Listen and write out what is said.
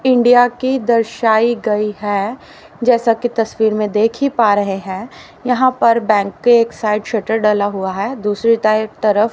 India की दर्शाई गई है जैसा की तस्वीर में देखी पा रहे हैं यहां पर बैंक के एक साइड शटर डला हुआ है दूसरी टाइप तरफ--